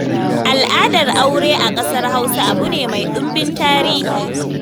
Al'adar aure a ƙasar Hausa abu ne mai ɗimbin tarihi.